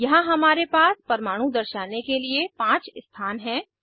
यहाँ हमारे पास परमाणु दर्शाने के लिए 5 स्थान हैं